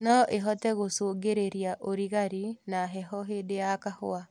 Noĩhote gũcũngĩrĩria ũrigarĩ na heho hĩndĩ ya kahũa